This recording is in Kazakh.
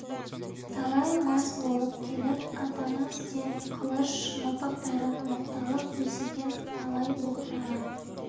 талай мас болып келіп атамыз деп қылыш мылтықтарын оқталып төсеген талай боқтаған